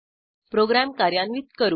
program कार्यान्वित करू